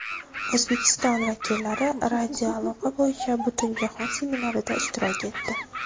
O‘zbekiston vakillari radioaloqa bo‘yicha Butunjahon seminarida ishtirok etdi.